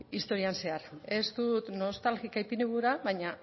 historian zehar ez dut nostalgika ipini gura baina